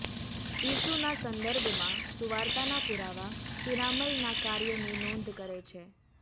ઈસુના સંદર્ભમાં સુવાર્તાના પુરાવા પિરામલના કાર્યની નોંધ કરે છે